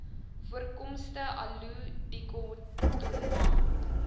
voorkomste aloe dichotoma